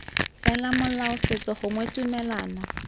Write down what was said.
fela molao setso gongwe tumelano